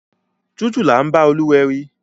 Títù là ḿbá Olúwẹri.